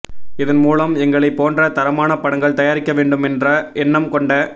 இதன் மூலம் எங்களைப் போன்ற தரமான படங்கள் தயாரிக்க வேண்டும் என்ற எண்ணம் கொண்ட